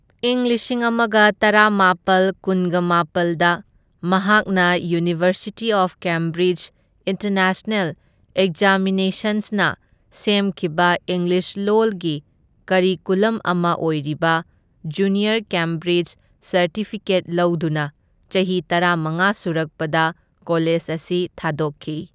ꯏꯪ ꯂꯤꯁꯤꯡ ꯑꯃꯒ ꯇꯔꯥꯃꯥꯄꯜ ꯀꯨꯟꯒꯃꯥꯄꯜꯗ ꯃꯍꯥꯛꯅ ꯌꯨꯅꯤꯚꯔꯁꯤꯇꯤ ꯑꯣꯐ ꯀꯦꯝꯕ꯭ꯔꯤꯖ ꯏꯟꯇꯔꯅꯦꯁꯅꯦꯜ ꯑꯦꯛꯖꯥꯃꯤꯅꯦꯁꯟꯁꯅ ꯁꯦꯝꯈꯤꯕ ꯏꯪꯂꯤꯁ ꯂꯣꯜꯒꯤ ꯀꯔꯤꯀꯨꯂꯝ ꯑꯃ ꯑꯣꯏꯔꯤꯕ ꯖꯨꯅꯤꯌꯔ ꯀꯦꯝꯕ꯭ꯔꯤꯖ ꯁꯔꯇꯤꯐꯤꯀꯦꯠ ꯂꯧꯗꯨꯅ ꯆꯍꯤ ꯇꯔꯥꯃꯉꯥ ꯁꯨꯔꯛꯄꯗ ꯀꯣꯂꯦꯖ ꯑꯁꯤ ꯊꯥꯗꯣꯛꯈꯤ꯫